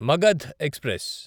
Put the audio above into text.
Magadh express